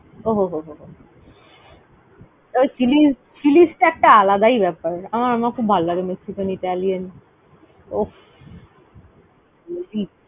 ওহ হো হো হো হো ওই Chili's, Chili's টা একটা আলাদাই ব্যাপার। আমরা আমার খুব ভালো লাগে Mexcian, Italian । অফ! ।